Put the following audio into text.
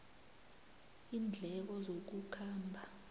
iindleko zokukhamba